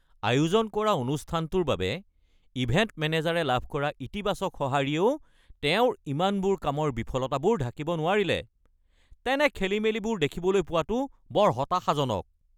আয়োজন কৰা অনুষ্ঠানটোৰ বাবে ইভেণ্ট মেনেজাৰে লাভ কৰা ইতিবাচক সঁহাৰিয়েও তেওঁৰ ইমানবোৰ কামৰ বিফলতাবোৰ ঢাকিব নোৱাৰিলে। তেনে খেলিমেলিবোৰ দেখিবলৈ পোৱাটো বৰ হতাশাজনক।